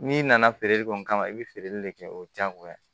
N'i nana feereli kɔni kama i bi feereli de kɛ o diyagoya